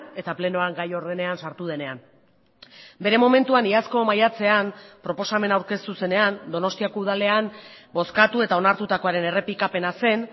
eta plenoan gai ordenean sartu denean bere momentuan iazko maiatzean proposamena aurkeztu zenean donostiako udalean bozkatu eta onartutakoaren errepikapena zen